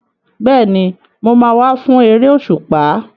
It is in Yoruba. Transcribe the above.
Bẹ́ẹ̀ni, mo máa wá fún eré òṣùpá.